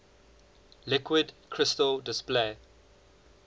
liquid crystal display